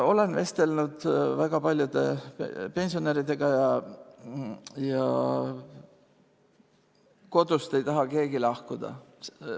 Olen vestelnud väga paljude pensionäridega ja kodust ei taha keegi lahkuda.